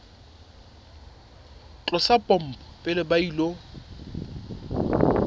tlosa pompo pele ba ilo